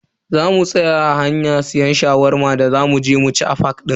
Zamu tsaya a hanya siyan Shawarma da za muje mu ci a fak din.